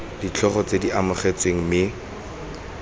ditlhogo tse di arogantsweng mme